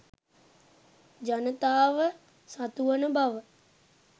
ජනතාව සතුවන බව